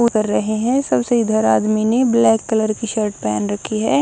उतर रहे हैं सबसे इधर आदमी ने ब्लैक कलर की शर्ट पहन रखी है।